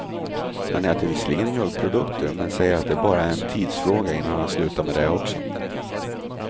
Han äter visserligen mjölkprodukter, men säger att det bara är en tidsfråga innan han slutar med det också.